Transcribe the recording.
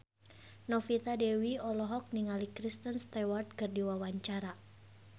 Novita Dewi olohok ningali Kristen Stewart keur diwawancara